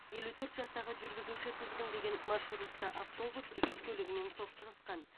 елу төрт жастағы жүргізуші тізгіндеген маршрутты автобус жүк көлігімен соқтығысқан